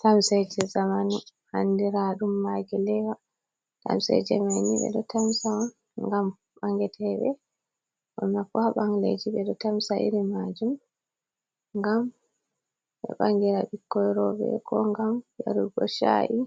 Tamseje zamanu andira ɗum maki lewa, tamseje mai ni ɓe ɗo tamsa on ngam ɓangeteɓe, ɓurna fu ha ɓangleji, ɓe ɗo tamsa iri majum ngam ɓe ɓangira ɓikkoi roɓɓe, ko ngam yarugo sha’i,